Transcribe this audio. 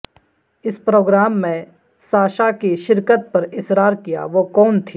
اس programme میں Sasha کی شرکت پر اصرار کیا وہ کون تھی